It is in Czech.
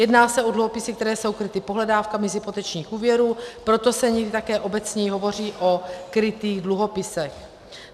Jedná se o dluhopisy, které jsou kryty pohledávkami z hypotečních úvěrů, proto se někdy také obecněji hovoří o krytých dluhopisech.